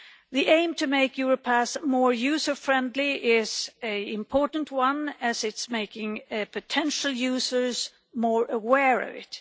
The aim to make Europe as more user friendly is an important one as it's making potential users more aware of it.